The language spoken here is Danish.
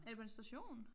Er det på en station?